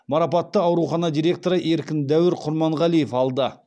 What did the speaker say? марапатты аурухана директоры еркін дәуір құрманғалиев алды